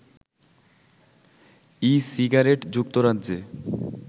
e cigarette যুক্তরাজ্যে